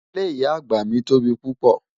Ìlé ìyà agba mi tó bí pupọ́.